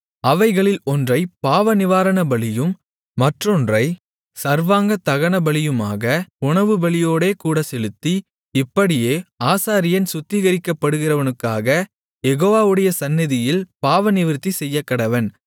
அவைகளில் ஒன்றைப் பாவநிவாரணபலியும் மற்றொன்றைச் சர்வாங்கதகனபலியுமாக உணவுபலியோடேகூடச் செலுத்தி இப்படியே ஆசாரியன் சுத்திகரிக்கப்படுகிறவனுக்காக யெகோவாவுடைய சந்நிதியில் பாவநிவிர்த்தி செய்யக்கடவன்